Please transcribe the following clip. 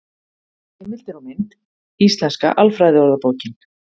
Heimildir og mynd: Íslenska alfræðiorðabókin.